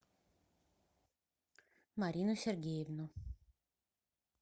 марину сергеевну